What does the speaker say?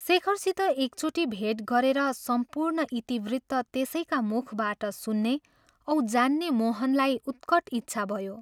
शेखरसित एकचोटि भेट गरेर सम्पूर्ण इतिवृत्त त्यसैका मुखबाट सुन्ने औं जाने मोहनलाई उत्कट इच्छा भयो।